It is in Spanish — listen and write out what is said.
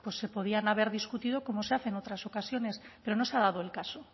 se podían haber discutido como se hace en otras ocasiones pero no se ha dado el caso